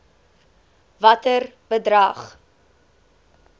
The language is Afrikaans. watter bedrag